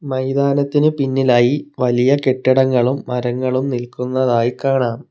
മൈതാനത്തിന് പിന്നിലായി വലിയ കെട്ടിടങ്ങളും മരങ്ങളും നിൽക്കുന്നതായി കാണാം.